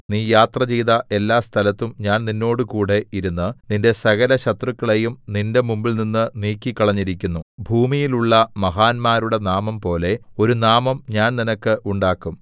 നീ യാത്രചെയ്ത എല്ലാ സ്ഥലത്തും ഞാൻ നിന്നോടുകൂടെ ഇരുന്ന് നിന്റെ സകലശത്രുക്കളെയും നിന്റെ മുമ്പിൽനിന്ന് നീക്കികളഞ്ഞിരിക്കുന്നു ഭൂമിയിലുള്ള മഹാന്മാരുടെ നാമംപോലെ ഒരു നാമം ഞാൻ നിനക്ക് ഉണ്ടാക്കും